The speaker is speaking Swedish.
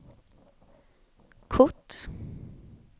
kort